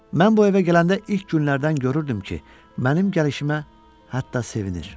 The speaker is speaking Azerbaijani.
Mən bu evə gələndə ilk günlərdən görürdüm ki, mənim gəlişimə hətta sevinir.